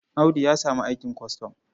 Audu ya samu aikin kwastam.